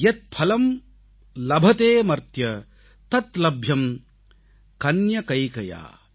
யத் பலம் லபதேமர்த்ய தத் லப்யம் கன்யகைகயா